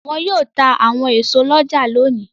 Wọn yóò ta àwọn èso lọ́jà lónìí.